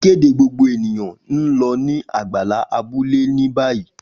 Ikede gbogbo eniyan n lọ ni agbala abule ni bayi.